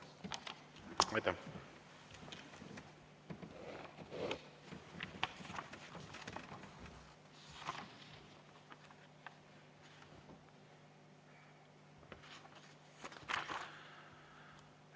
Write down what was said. Aitäh!